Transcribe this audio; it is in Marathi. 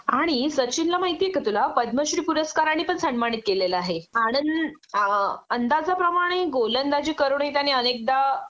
आणि सचिनला माहिती आहे का तुला पदमश्री पूरसाकाराने पण सन्मानित केलेलं आहे आनण आ अंदाजाप्रमाणे गोलंदाजी करूनही त्याने अनेकदा